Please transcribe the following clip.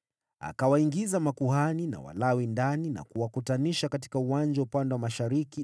Akawaingiza makuhani na Walawi ndani na kuwakutanisha katika uwanja upande wa mashariki